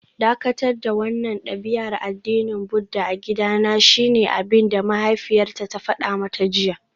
Dakatar da wannan dabi'ar addinin Buddah a gidana shine abinda mahaifiyarta ta fada mata jiya